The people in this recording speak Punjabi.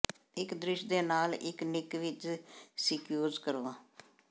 ਇੱਕ ਦ੍ਰਿਸ਼ ਦੇ ਨਾਲ ਇੱਕ ਨਿੱਕ ਵਿੱਚ ਸਕਿਊਜ਼ ਕਰੋ